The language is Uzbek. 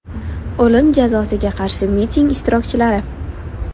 O‘lim jazosiga qarshi miting ishtirokchilari.